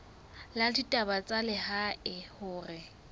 la ditaba tsa lehae hore